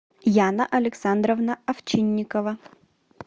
яна александровна овчинникова